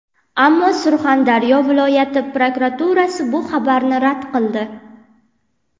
Ammo Surxondaryo viloyati prokuraturasi bu xabarni rad qildi.